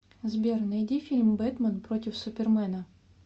сбер найди фильм бэтмэн против супермэна